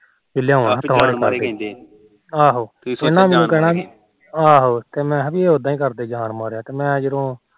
ਆਹੋ ਤੇ ਮੈ ਖਾ ਪੀ ਉਦਾ ਕਰਦੇ ਜਾਣ ਮਾਰਿਆ ਤੇ ਮੈ ਜਦੋ